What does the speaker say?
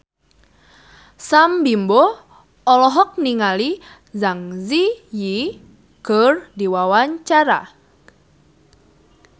Sam Bimbo olohok ningali Zang Zi Yi keur diwawancara